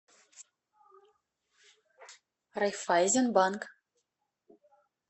райффайзенбанк